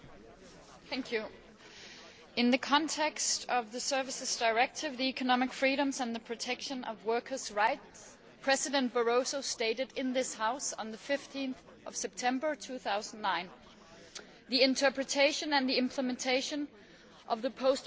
In the context of the Services Directive, economic freedoms and the protection of workers' rights, Commission President Barroso stated in this House on 15 September 2009 The interpretation and the implementation of the Posted Workers Directive falls short...